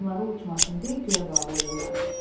Damları uçmasın deyə göyə bağlayırlar.